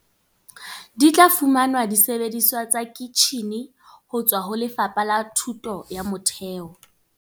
Di tla fumana disebediswa tsa kitjhine ho tswaho Lefapha la Thuto ya Motheo.